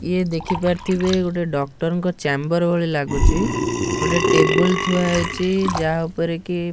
ଇଏ ଦେଖି ପାରୁଥିବେ ଗୋଟେ ଡକ୍ଟର ଙ୍କ ଚାମ୍ବର ଭଳି ଲାଗୁଚି ଗୋଟେ ଟେବୁଲ ଥୁଆ ହେଇଚି ଯାହା ଉପରେ କି --